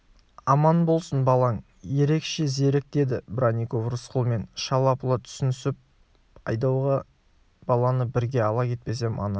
аман болсын балаң ерекше зерек деді бронников рысқұлмен шала-пұла түсінісіп айдауға баланы бірге ала кетпесем ана